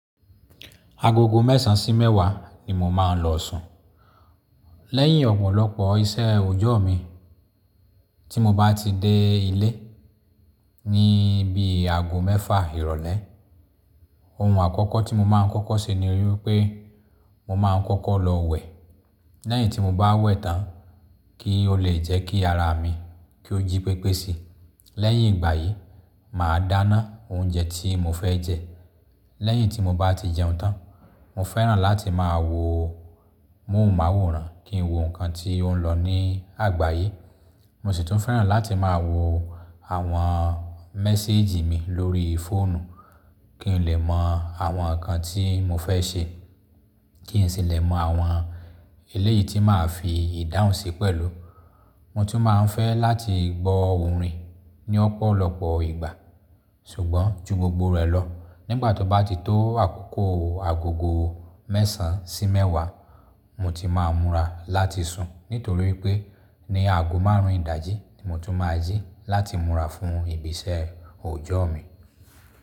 Agogo mẹ́sàn sí mẹ́wàá ni mo máa ń lọ sùn. Lẹ́yìn ọ̀pọ̀lọpọ̀ iṣẹ́ òòjọ́ mi tí mo bá ti dé ilé ní bí àagó mẹ́fà ìrọ̀lẹ́, ohun àkọ́kọ́ tí mo máa ń kọ́kọ́ ṣe ni wípé mo máa ń kọ́kọ́ lọ wẹ̀. Lẹ́yìn tí mo bá wẹ̀ tán kí ó lè jẹ́ kí ara mi kí ó jí pépé si. Lẹ́yìn ìgbà yìí, màá dáná oúnjẹ tí mo fẹ́ jẹ. Lẹ́yìn tí mo bá ti jẹun tán, mo fẹ́ràn láti máa wo moùn máwòrán, kí n wo nǹkan tí ó ń lọ ní àgbáyé. Mo sì tún fẹ́ràn láti máa wo àwọn méséjì mi lórí fóònù kí n lè mọ àwọn nǹkan tí mo fẹ́ ṣe, kí n sì lè mọ àwọn eléyìí tí màá fi ìdáhùn ṣe pẹ̀lú. Mo tún máa ń fẹ́ láti gbọ́ orin ní ọ̀pọ̀lọpọ̀ ìgbà. Ṣùgbọ́n ju gbogbo rẹ̀ lọ, nígbà tó bá ti tó àkókò agogo mẹ́sàn sí mẹ́wàá, mo ti máa múra láti sùn nítorí pé ní àgó márùn-ún ìdájí ni mo ti máa yí láti múra fún ìbí iṣẹ́ òòjọ́ mi.